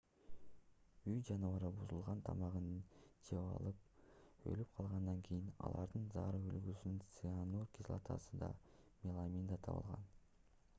үй жаныбарлары бузулган тамагын жеп алып өлүп калгандан кийин алардын заара үлгүсүнөн цианур кислотасы да меламин да табылган